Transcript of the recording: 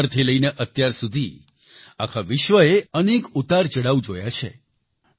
ત્યારથી લઈને અત્યારસુધી આખા વિશ્વએ અનેક ઉતારચડાવ જોયા છે